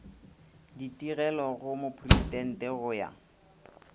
ditigelo go mopresidente go ya